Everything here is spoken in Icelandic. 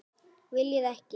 Viljir ekki.